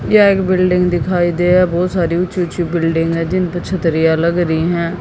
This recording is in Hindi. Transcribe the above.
ये एक बिल्डिंग दिखाई दे है बहोत सारी ऊंची ऊंची बिल्डिंग है जिनपे छतरियां लग रही हैं।